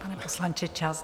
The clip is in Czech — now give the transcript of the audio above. Pane poslanče, čas.